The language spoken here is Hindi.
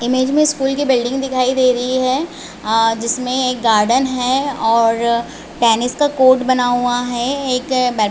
इमेज में स्कूल की बिल्डिंग दिखाई दे रहे है और जिसमे एक गार्डन है और टैनिस कोर्ट बना हुआ है एक ब--